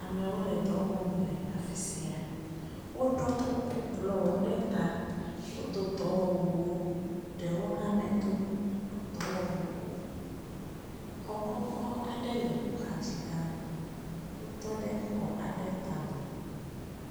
Amewo le dɔ wɔm le afi sia. Woɖɔ kuku blɔwo ɖe ta. Wodo dɔwɔwuwo eye ɖewo hã medo dɔwɔwu o. Xɔ kɔkɔ aɖe le woxa dzi ɖaa.